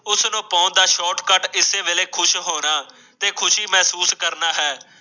ਉਸ ਨੂੰ ਪਾਉਣ ਦਾ ਸ਼ਾਰਟਕੱਟ ਇਸ ਵੇਲੇ ਖੁਸ਼ ਹੋਣਾ ਤੇ ਖੁਸ਼ੀ ਮਹਿਸੂਸ ਕਰਨਾ ਹੈ।